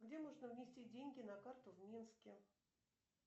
где можно внести деньги на карту в минске